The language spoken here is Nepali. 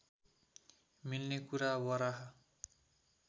मिल्ने कुरा वराह